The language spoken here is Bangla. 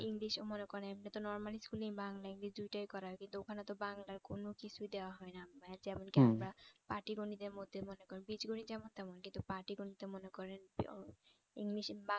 english ও মনে করেন normal school এ বাংলা english দুটোই করায় ওখানে তো বাংলার কোন কিছুই দেওয়া হয়না ভাইয়া আমরা পাটিগণিতের মধ্যে মনে করেন বীজগণিত যেমন তেমন কিন্তু পাটিগণিত মনে করেন আহ english